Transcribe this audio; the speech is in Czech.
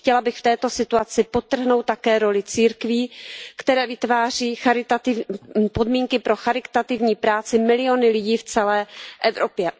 Chtěla bych v této situaci podtrhnout také roli církví, které vytváří podmínky pro charitativní práci milionů lidí v celé Evropě.